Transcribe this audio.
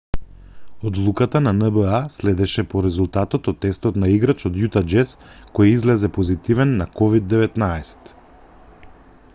одлуката на нба следеше по резултатот од тестот на играч од јута џез кој излезе позитивен на ковид-19